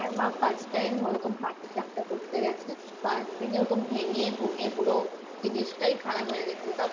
আমার মা first time ওরকম পাটিসাপটা করতে গেছে first দিন এরকম ভেঙে ভেঙে পুরো খারাপ হয়ে গেছিল